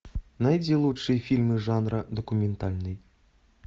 найди лучшие фильмы жанра документальный